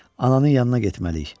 Ananın yanına getməliyik.